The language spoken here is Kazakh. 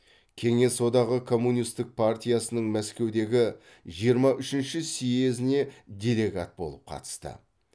кеңес одағы коммунистік партиясының мәскеудегі жиырма үшінші сьезіне делегат болып қатысты